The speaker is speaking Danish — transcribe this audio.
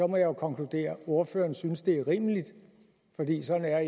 må jeg konkludere at ordføreren synes det er rimeligt fordi sådan er